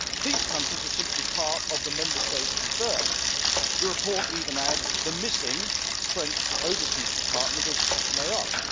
Those countries are simply part of the Member States concerned. The report even adds the missing' French overseas department of Mayotte.